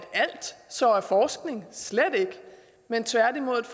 alt så er forskning slet ikke men tværtimod et